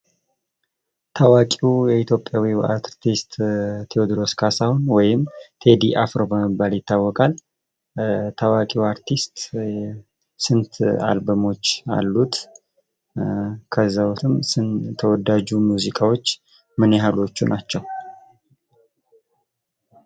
ታዋቂው ኢትዮጵያዊ አርቲስት ቴወድሮስ ካሳሁን ወይም ቴዲ አፍሮ በመባል ይታወቃል። ታዋቅ አርቲስት ስንት አልበሞች አሉት? ከዚያ ዉስጥም ተወዳጆች ሙዚቃወች ምን ያህሎቹ ናቸው?